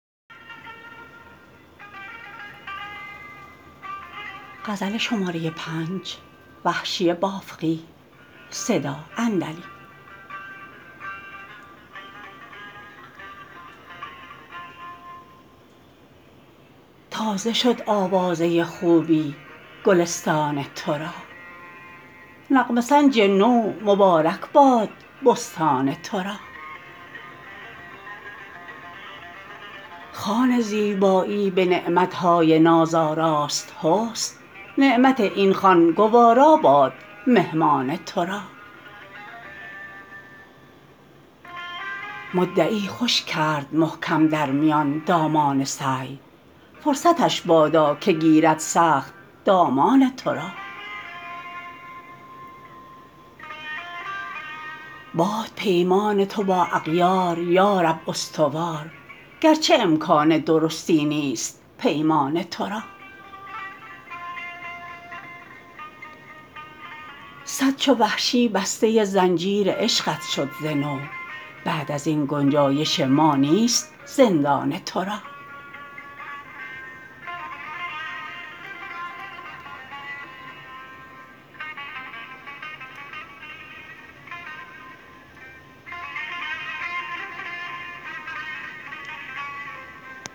تازه شد آوازه خوبی گلستان ترا نغمه سنج نو مبارک باد بستان ترا خوان زیبایی به نعمتهای ناز آراست حسن نعمت این خوان گوارا باد مهمان ترا مدعی خوش کرد محکم در میان دامان سعی فرصتش بادا که گیرد سخت دامان ترا باد پیمان تو با اغیار یارب استوار گرچه امکان درستی نیست پیمان ترا صد چو وحشی بسته زنجیر عشقت شد ز نو بعد از این گنجایش ما نیست زندان ترا